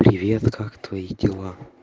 привет как твои дела